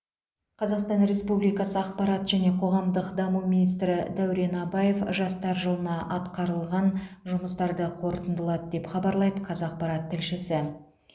қзақстан республикасы ақпарат және қоғамдық даму министрі дәурен абаев жастар жылына атқарылған жұмыстарды қорытындылады деп хабарлайды қазақпарат тілшісі